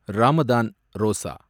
Ramadan, Rosa